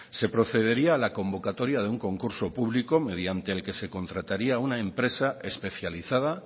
se procedería a la convocatoria de una concurso público mediante el que se contrataría una empresa especializada